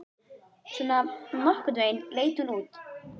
Svona nokkurn veginn leit hún út: